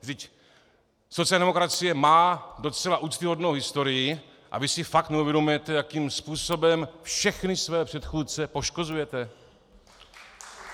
Vždyť sociální demokracie má docela úctyhodnou historii a vy si fakt neuvědomujete, jakým způsobem všechny své předchůdce poškozujete?